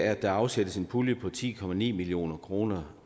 at der afsættes en pulje på ti million kroner